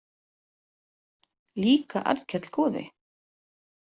Líka Arnkell goði.